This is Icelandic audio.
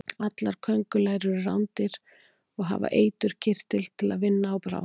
Allar köngulær eru rándýr og hafa eiturkirtil til að vinna á bráð.